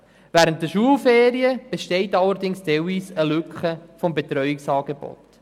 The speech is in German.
Während den Schulferien besteht allerdings teilweise eine Lücke beim Betreuungsangebot.